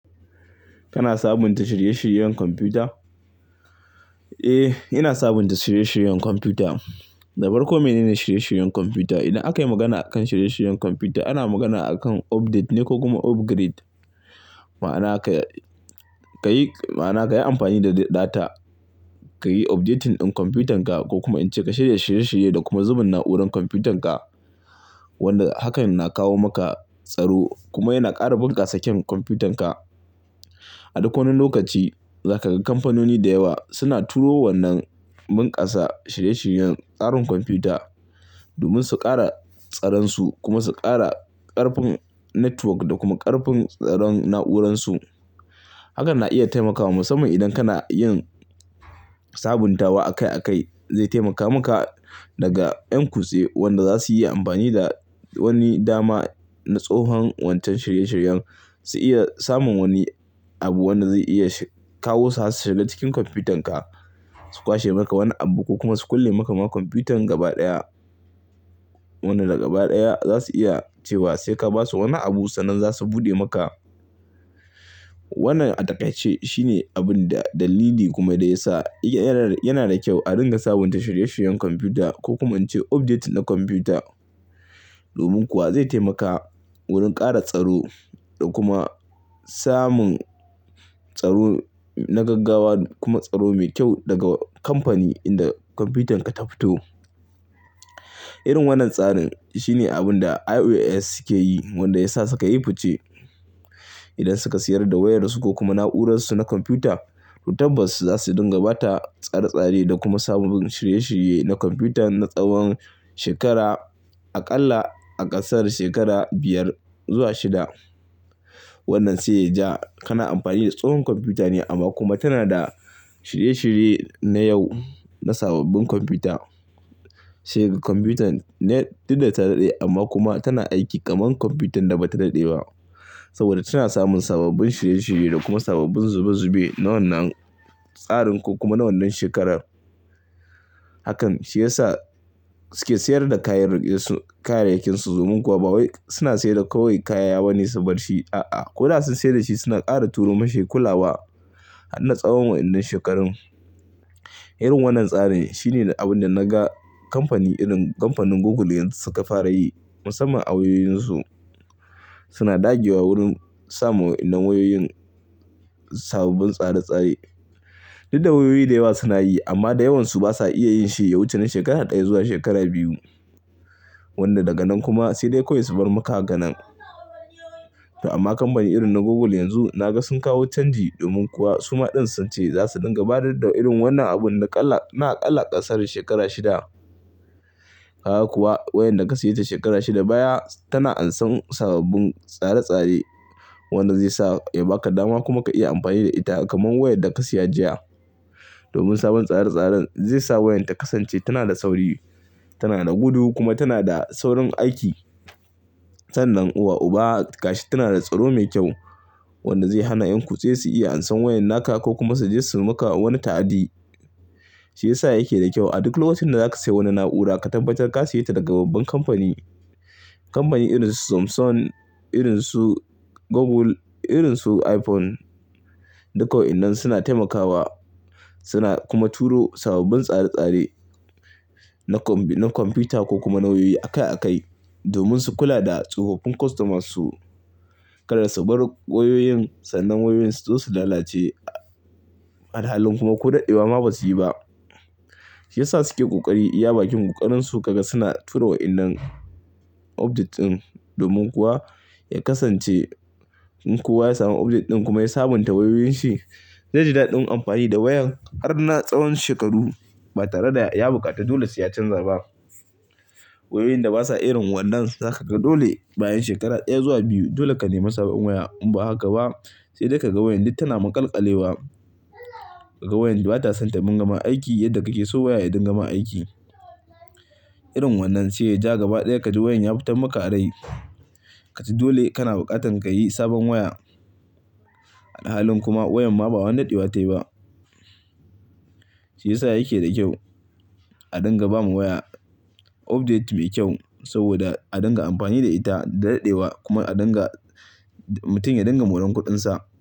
Kana sabunta shirye-shiryen kwamfuta? Eh, ina sabunta shirye-shiryen kwamfuta. Dabar komai ne shirye-shiryen kwamfuta. Idan aka yi magana a kan shirye-shiryen kwamfuta, ana magana a kan update ne ko kuma upgrade. Ma'ana ka yi amfani da data, ka yi updating ɗin kwamfutan ka ko kuma in ce ka shirya shirye-shirye da kuma zuban na'urar kwamfutan ka. Wanda hakan na kawo maka tsaro kuma yana ƙara bunƙasa kem kwamfutan ka. A duk wani lokaci za ka ga kamfanoni da yawa suna turo wannan bunƙasa shirye-shiryen tsarin kwamfuta domin su ƙara tsararsu kuma su ƙara ƙarfin network da kuma ƙarfin tsaron n uransu. Hakan na iya taimaka wa musamman idan kana yin sabuntawa akai akai, zai taimaka maka daga ƴan kutse wanda za su yi amfani da wani dama na tsohon wancan shirye-shiryen, su iya samun wani abu wanda zai iya kawo su har su shiga cikin kwamfutan ka, su kwashe maka wani abu ko kuma su kulle maka ma kwamfutan gaba ɗaya. Wannan daga baya dai zavsu iya cewa sai ka basu wani abu sannan za su buɗe maka. Wannan a dakace shine abun da dalili kuma da ya sa yana da kyau a dinga sabunta shirye-shiryen kwamfuta ko kuma in ce update na kwamfuta. Domin kuwa zai taimaka wurin ƙara tsaro da kuma samun tsaro na gaggawa kuma tsaro mai kyau daga kamfani inda kwamfutan ka ta fito. Irin wannan tsarin shine abun da iOS suke yi wanda ya sa suka yi fuce. Idan suka siyar da wayarsu ko kuma na'urarsu na kwamfuta, tabbas za su dinga bata tsare-tsare da kuma samun shirye-shirye na kwamfuta na tsawon shekara a ƙalla a ƙasar shekara biyar zuwa shida. Wannan sai ya ja kana amfani da tsohon kwamfuta ne amma kuma tana da shirye-shirye na yau na sababbin kwamfuta. Sai ga kwamfutan net ɗin da ta daɗe amma kuma tana aiki kaman kwamfutan da bata daɗe ba saboda tana samun sababbin shirye-shirye da kuma sababbin zube-zube na wannan tsarin ko kuma na wannan shekarar. Hakan shi ya sa suke siyar da kayan kayan rikensu domin kuwa ba wai suna siyar da kawai kayan yawane su bar shi. A'a, ko da sun siyar da shi suna ƙara turo masa kullawa har na tsawon wa'inan shekarun. Irin wannan tsarin shine abin da na ga kamfani irin kamfanin Google yanzu suka fara yi musamman a wayoyinsu. Suna ɗage wa wurin samun na wayoyin sababbin tsare-tsare. Duk da wayoyi da yawa suna yi amma da yawansu basa iya yin shi ya wuce na shekara ɗaya zuwa shekara biyu. Wanda daga nan kuma sai dai kawai su bar maka ganen. Amma kamfani irin na Google yanzu na ga sun kawo canji domin kuwa suma ɗin sun ce za su dinga bada da irin wannan abun na ƙalla ƙasar shekara shida. Kaga kuwa wayar da ka siyo ta shekara shida baya tana ansan sababbin tsare-tsare wanda zai sa ya baka dama kuma ka iya amfani da ita kaman wayar da ka siya jiya. Domin sabon tsare-tsaren zai sa wayar ta kasance tana da sauri, tana da gudu kuma tana da saurin aiki. Sannan uwa uba gashi tana da tsaro mai kyau wanda zai hana ƴan kutse su iya ansan wayar naka ko kuma suje suyi maka wani ta'adi. Shi ya sa yake da kyau a duk lokacin da za ka sayo wani na'ura ka tabbatar ka siyo ta daga babban kamfani. Kamfani irin su Samsung, irin su Google, irin su iPhone duk waenan suna taimakawa suna kuma turo sababbin tsare-tsare na kwamfuta ko kuma na wayoyi akai akai domin su kula da tsofaffin kostomasu. Kada su bar wayoyin sannan wayoyinsu zo su lalace. A halin kuma ko daɗewa ma basu yi ba. Shi ya sa suke ƙoƙari iya bakin ƙoƙarin su kaga suna turo wa'inan update ɗin domin kuwa ya kasance in kowa ya samu update ɗin kuma ya sabunta wayoyinsi, zai ji daɗin amfani da wayan har na tsohon shekaru ba tare da ya bukata dole sai ya canza ba. Wayoyin da basa irin wannan za ka ga dole bayan shekara ɗaya zuwa biyu dole ka nemi sabon waya in ba haka ba sai dai ka ga wayan duk tana makalƙale ba. Ka ga wayan duk bata son ta bin gama aiki yadda kake so waya ya dingama aiki. Irin wannan sai ya ja gaba ɗaya ka ji wayan ya fita maka a rai. Ka ji dole kana bukatan ka yi sabon waya. A halin kuma wayan ma ba wani daɗewa tayi ba. Shi ya sa yake da kyau a dinga bama waya update mai kyau saboda a dinga amfani da ita daɗaɗewa kuma a dinga mutum ya dinga moran kuɗinsa.